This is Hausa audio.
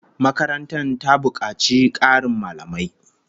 Makarantar ta bukaci Karin mallamai